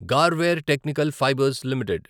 Garware technical fibres limited